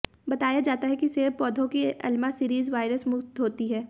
बताया जाता है कि सेब पौधों की एलमा सीरिज वायरस मुक्त होती है